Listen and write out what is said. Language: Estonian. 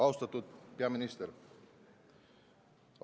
Austatud peaminister!